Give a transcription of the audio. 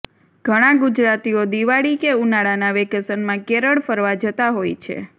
ઘણા ગુજરાતીઓ દિવાળી કે ઉનાળાના વેકેશનમાં કેરળ ફરવા જતા હોય છે